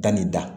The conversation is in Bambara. Danni da